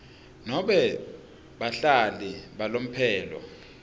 nobe bahlali balomphelo